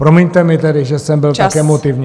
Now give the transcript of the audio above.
Promiňte mi tedy, že jsem byl tak emotivní.